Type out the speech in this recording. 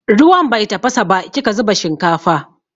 Ruwan bai tafasa ba kika zuba shinkafa.